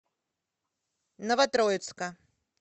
новотроицка